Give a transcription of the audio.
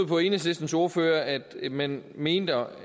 på enhedslistens ordfører at man mener